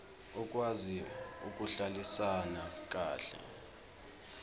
okwazi ukuhlalisana kahle